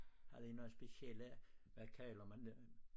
Havde i noget specielle hvad kalder man det